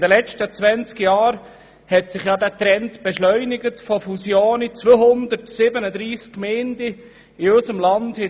In den letzten 20 Jahren hat sich der Trend zu Fusionen beschleunigt.